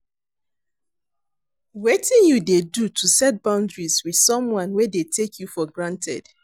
Wetin you dey do to set boundaries with someone wey dey take you for granted?